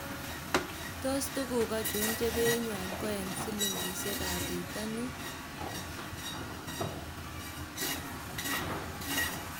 Tos tukuk achon che beyiinywaan ko en sillingisiekaab bitoniin